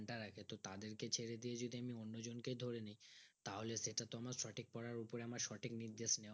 দাঁড়ায় তো তাদেরকে ছেড়ে দিয়ে যদি আমি ওনো জোনকে ধরি তাহলে সেটা তো আমার সঠিক পড়ার উপরে আমার সঠিক নির্দেশ নিও হচ্ছে নানা